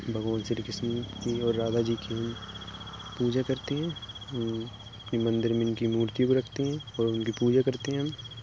भगवान श्री कृष्ण की और राधा जी की हम पूजा करती हैं। म् मंदिर में इनकी मूर्ति भी रखती हैं और उनकी पूजा करती हैं हम --